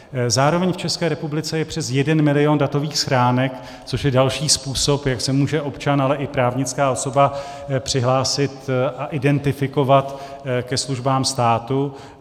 Zároveň v České republice je přes 1 milion datových schránek, což je další způsob, jak se může občan, ale i právnická osoba přihlásit a identifikovat ke službám státu.